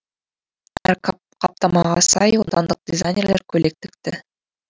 әр қаптамаға сай отандық дизайнерлер көйлек тікті